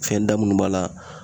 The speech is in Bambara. Fɛn da minnu b'a la